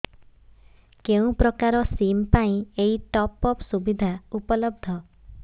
କେଉଁ ପ୍ରକାର ସିମ୍ ପାଇଁ ଏଇ ଟପ୍ଅପ୍ ସୁବିଧା ଉପଲବ୍ଧ